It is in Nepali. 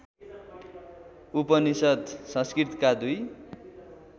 उपनिषद् संस्कृतका दुई